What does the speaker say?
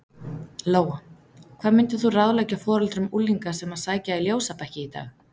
Lóa: Hvað myndir þú ráðleggja foreldrum unglinga sem að sækja í ljósabekki í dag?